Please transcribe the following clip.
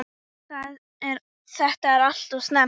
Þetta er alltof snemmt.